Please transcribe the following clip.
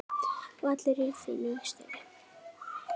Og allir í fínu stuði.